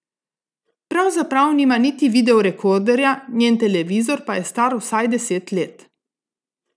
Pravzaprav nima niti videorekorderja, njen televizor pa je star vsaj deset let.